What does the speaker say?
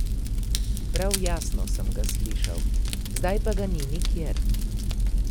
Prav jasno sem ga slišal, zdaj pa ga ni nikjer.